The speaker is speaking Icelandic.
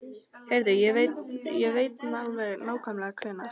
Heyrðu, ég veit alveg nákvæmlega hvenær.